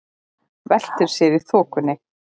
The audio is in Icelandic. Veltir sér í þokunni.